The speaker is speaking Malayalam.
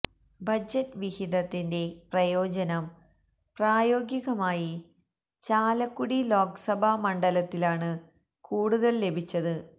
ബജറ്റ് വിഹിതത്തിന്റെ പ്രയോജനം പ്രായോഗികമായി ചാലക്കുടി ലോക്സഭാ മണ്ഡലത്തിനാണ് കൂടുതൽ ലഭിച്ചത്